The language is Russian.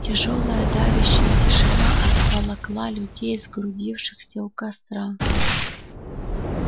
тяжёлая давящая тишина обволокла людей сгрудившихся у костра